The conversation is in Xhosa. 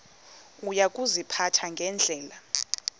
uya kuziphatha ngendlela